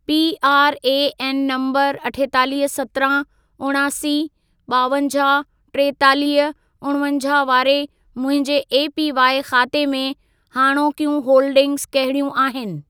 PRAN number अठेतालीह सत्रहं, उणासी, ॿावंजाहु, टेतालीह, उणवंजाहु वारे मुंहिंजे एपीवाइ खाते में हाणोकियूं होल्डिंगस कहिड़ियूं आहिनि?